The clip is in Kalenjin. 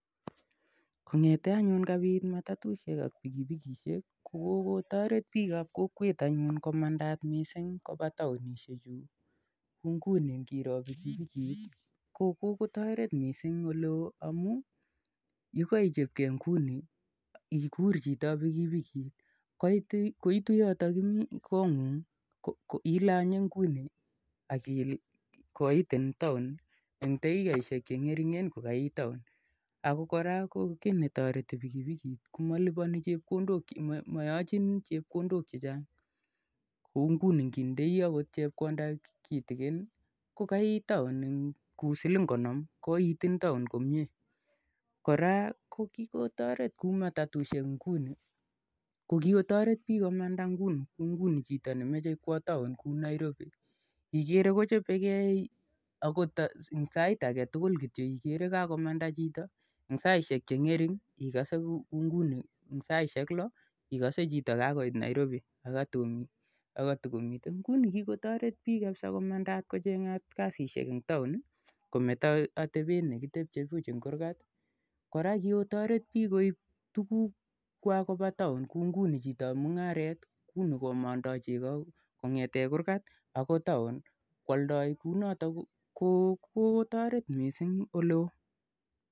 Kong'ete anyun kapit matatushek ak pikipikishek i ko kokotaret piik ap kokwet anyun komandaat missing' kopa taonishechu, kou nguni ngiro pikipikit ko kokotaret missing' ole oo amu ye kaichopgei nguni ikur chito ap pikipikit koitu yotayo imi, kong'ung' ko ilanye nguni ak koitin taon en dakikaishek che ng'ering'en ko kaiit taon. Ako kii ne tareti pikipikit ko malipani chito chepkondok che chang' anan maychin chepkondok che chang'. Kou anngot ngitindai chepkonda kitikin kou siling konom koitin taon komye. Kora ko kikotaret kou mtatatushek inguni ko kikotaret piik komanda nguni, kou nguni chito ne mache kowa taon kou Nairobi ikere kochope gei akota eng' sait age tugul kityo ikere kakomanda chito. Eng' saisek che ng'ering' kou nguni saishek lo ikase kele kakoit chito Nairobi akatukomitei, nguni kikotaret piik komandaak kocheng'at kasishek eng' taon kometa atepet ne kitepche puch eng' kurgat. Kora ko kikotaret piik koip tugukwak kopa taon kou nguni chitoap mung'aret nguni komandai cheko kong'ete kurgat akoi taon koaldai kou notok ko kotaret missing' ole oo.